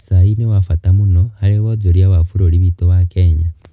Cai nĩ wa bata mũno harĩ wonjoria wa bũrũri witũ wa Kenya.